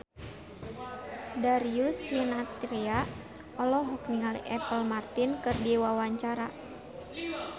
Darius Sinathrya olohok ningali Apple Martin keur diwawancara